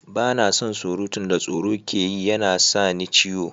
Ba na son surutun da tsoro ke yi, ya na sa ni ciwo.